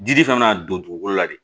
Dili kan'a don dugukolo la de